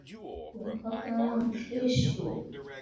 Hún kallaði hann klisju.